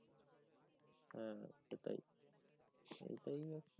হ্যা হ্যা এটা তাই এটাই